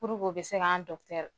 u bɛ se ka an dɔkɔtɔrɔ